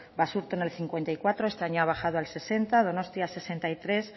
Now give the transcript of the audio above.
basurto en el cincuenta y cuatro este año ha bajado al sesenta donostia sesenta y tres